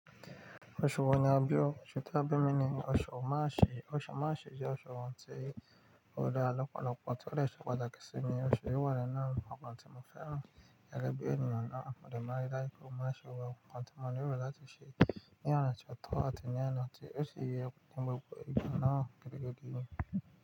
Oṣù wo ni a bí o? Osu tí a bá mí ní ní oṣù march, oṣù march jẹ́ oṣù tí ó dá lọ́pọ̀lọpọ̀ tí o de se pàtákí símí oṣù yìí wà ninu àwọ̀ǹ tí mo fẹ́ràn ẹ gẹ́gẹ́ bí ènìyàn náà mo de máa rí dáju pẹ́. Mo maa n se gbogbo àwọ̀ǹ nkan tí mọ̀ lẹ́rò láti ṣe ní ọ̀nà tió tọ́ àti ní ọ̀nà tí ó ṣi yé fun gbogbo igba naa gidi gidi.